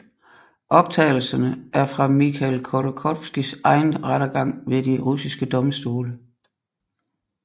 Optagelserne er fra Mikhail Khodorkovskijs egen rettergang ved de russiske domstole